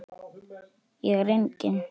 Ég er engin.